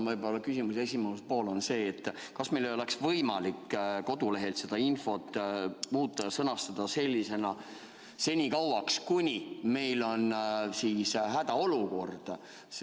Minu küsimuse esimene pool on see, kas meil ei oleks võimalik kodulehel seda infot muuta ja sõnastada sellisena: senikauaks, kuni meil on siis hädaolukord.